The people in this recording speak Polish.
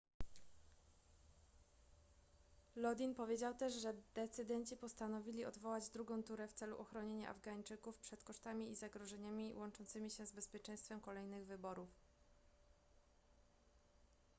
lodin powiedział też że decydenci postanowili odwołać drugą turę w celu ochronienia afgańczyków przed kosztami i zagrożeniami łączącymi się z bezpieczeństwem kolejnych wyborów